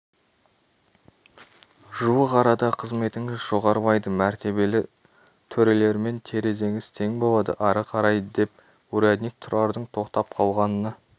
жуық арада қызметіңіз жоғарылайды мәртебелі төрелермен терезеңіз тең болады ары қарай деп урядник тұрардың тоқтап қалғанына